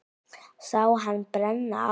Sá hann brenna af.